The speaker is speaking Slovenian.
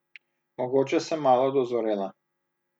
Mogoče sem malo dozorela.